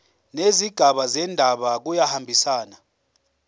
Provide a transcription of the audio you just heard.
nezigaba zendaba kuyahambisana